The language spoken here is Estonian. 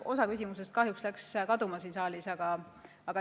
Osa küsimusest läks kahjuks kaduma siin saalis.